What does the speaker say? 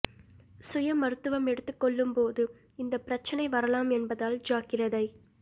சுய மருத்துவம் எடுத்துக்கொள்ளும்போது இந்தப் பிரச்னை வரலாம் என்பதால் ஜாக்கிரதை